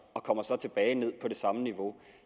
og kommer så tilbage ned på det samme niveau